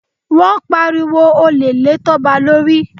Wọ́n pariwo olè lé Toba lórí.